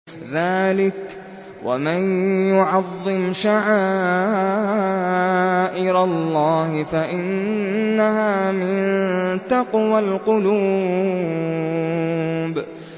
ذَٰلِكَ وَمَن يُعَظِّمْ شَعَائِرَ اللَّهِ فَإِنَّهَا مِن تَقْوَى الْقُلُوبِ